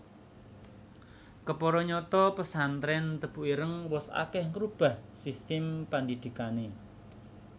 Kepara nyata pesantrèn Tebu Ireng wus akèh ngrubah sistem pandhidhikané